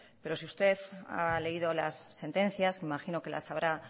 pero si usted ha leído las sentencias imagino que las habrá